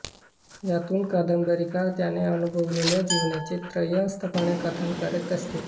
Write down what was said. यातून कादंबरीकार त्याने अनुभवलेल्या जीवनाचे त्रयस्थपणे कथन करत असतो